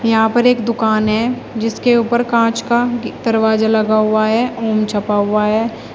यहां पर एक दुकान है जिसके ऊपर कांच का दरवाजा लगा हुआ है ओम छपा हुआ है।